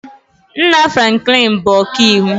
Nna Franklin bụ ọkaiwu